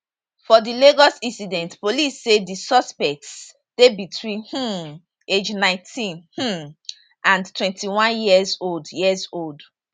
for di lagos incident police say di suspects dey between um ages 19 um and 21 years old years old